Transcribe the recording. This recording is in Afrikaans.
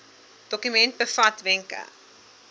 dokument bevat wenke